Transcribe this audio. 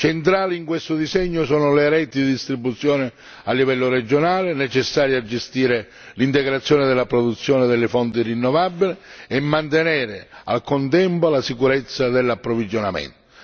Centrali, in questo disegno, sono le reti di distribuzione a livello regionale, necessarie a gestire l'integrazione della produzione delle fonti rinnovabili e mantenere nel contempo la sicurezza dell'approvvigionamento.